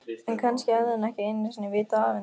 En kannski hafði hann ekki einu sinni vitað af henni.